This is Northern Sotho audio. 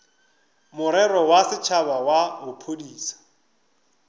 morero wa setšhaba wa bophodisa